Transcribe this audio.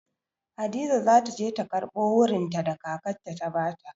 Hadiza za ta je ta karɓo wurinta da kakarta ta ba ta.